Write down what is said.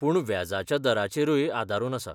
पूण व्याजाच्या दराचेरूय आदारून आसा.